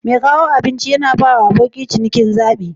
Mai kawo abinci yana bawa abokin ciniki zabi.